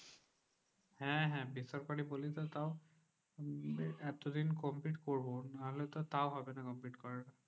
হ্যাঁ হ্যাঁ বেসরকারি বলেও তো তাও এতদিন complete করবো নাহলে তো তাও হবে না complete করা।